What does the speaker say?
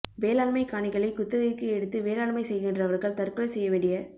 வேளாண்மை காணிகளை குத்தகைக்கு எடுத்து வேளாண்மை செய்கின்றவர்கள் தற்கொலை செய்ய வேண்டிய